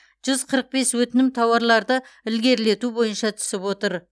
жүз қырық бес өтінім тауарларды ілгерілету бойынша түсіп отыр